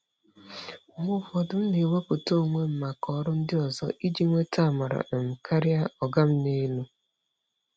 Mgbe ụfọdụ, m na-ewepụta onwe m maka ọrụ ndị ọzọ iji nweta amara um karịa "ọga m n'elu."